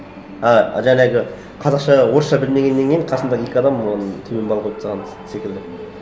а жаңағы орысша білмегеннен кейін қасымда екі адам оған төмен бал қойып тастаған секілді